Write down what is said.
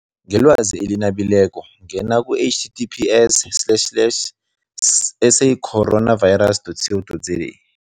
Ngelwazi eli nabileko ngena ku-H T T P S slash slash S A coronavirus dot C O dot Z A.